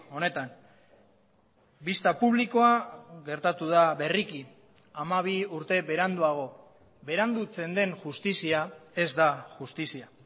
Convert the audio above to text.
honetan bista publikoa gertatu da berriki hamabi urte beranduago berandutzen den justizia ez da justizia